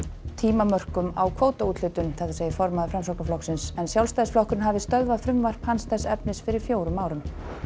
tímamörkum á kvótaúthlutun segir en Sjálfstæðisflokkurinn hafi stöðvað frumvarp hans þess efnis fyrir fjórum árum